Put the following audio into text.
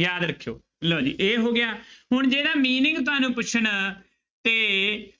ਯਾਦ ਰੱਖਿਓ, ਲਓ ਜੀ ਇਹ ਹੋ ਗਿਆ ਹੁਣ ਜਿਹੜਾ meaning ਤੁਹਾਨੂੰ ਪੁੱਛਣ ਤੇ